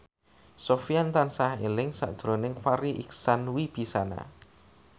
Sofyan tansah eling sakjroning Farri Icksan Wibisana